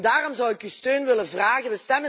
Daarom zou ik uw steun willen vragen.